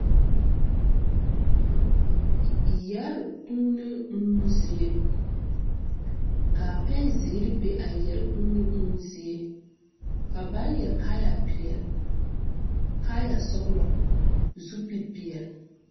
Yɛre kūūne uuo zie kaa pɛn zeere be a yɛre kūūne uuo zie ka ba yɛre kaayɛ peɛle kaayɛ sɔglɔ zupil peɛle.